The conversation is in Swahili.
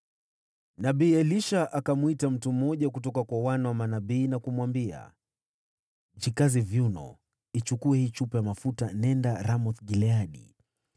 Nabii Elisha akamwita mtu mmoja kutoka kwa wana wa manabii na kumwambia, “Jikaze viuno, uichukue hii chupa ya mafuta, na uende Ramoth-Gileadi.